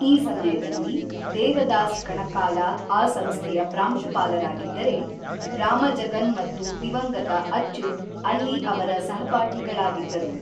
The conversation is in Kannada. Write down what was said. ಈ ಸಮಯದಲ್ಲಿ ದೇವದಾಸ್ ಕಣಕಾಲ ಆ ಸಂಸ್ಥೆಯ ಪ್ರಾಂಶುಪಾಲರಾಗಿದ್ದರೆ, ರಾಮಜಗನ್ ಮತ್ತು ದಿವಂಗತ ಅಚ್ಯುತ್ ಅಲ್ಲಿ ಅವರ ಸಹಪಾಠಿಗಳಾಗಿದ್ದರು.